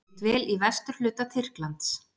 Ég dvel í vesturhluta Tyrklands.